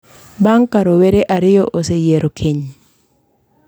bang’ ka rowere ariyo oseyiero keny,